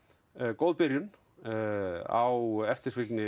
góð byrjun á eftirfylgni